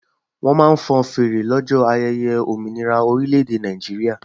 Wọ́n máa ń fọn fèrè lọ́jọ́ ayẹyẹ òmìnira orílẹ̀-èdè Nàìjíríà